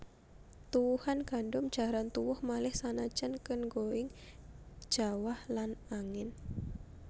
Tuwuhan gandum jaran tuwuh malih sanajan kengoing jawah lan angin